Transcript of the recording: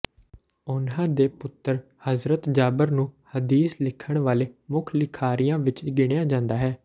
ਉਨ੍ਹਾਂ ਦੇ ਪੁੱਤਰ ਹਜ਼ਰਤ ਜਾਬਰ ਨੂੰ ਹਦੀਸ ਲਿਖਣ ਵਾਲੇ ਮੁੱਖ ਲਿਖਾਰੀਆਂ ਵਿਚ ਗਿਣਿਆ ਜਾਂਦਾ ਹੈ